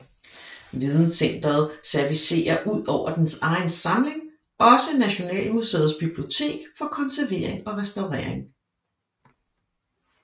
Videncenteret servicerer ud over dens egen samling også Nationalmuseets Bibliotek for konservering og restaurering